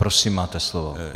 Prosím máte slovo.